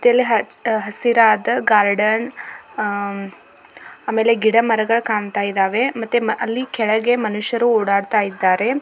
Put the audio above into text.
ಮತ್ತಿಲ್ಲಿ ಹಚ್ಚ ಹಸಿರಾದ ಗಾರ್ಡನ್ ಮತ್ತೆ ಇಲ್ಲಿ ಗಿಡಮರಗಳು ಕಾ ಕಾಣ್ತಾ ಇದ್ದಾವೆ ಅಲ್ಲಿ ಕೆಳಗೆ ಮನುಷ್ಯರು ಓಡಾಡ್ತಾ ಇದಾರೆ.